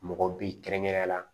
Mɔgɔ bi kɛrɛnkɛrɛn na